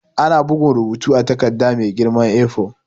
Ana bugun rubutu a takarda mai girman A4.